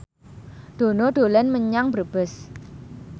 Dono dolan menyang Brebes